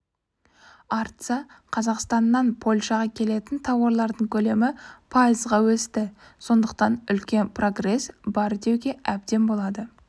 артса қазақстаннан польшаға келетін тауарлардың көлемі пайызға өсті сондықтан үлкен прогресс бар деуге әбден болады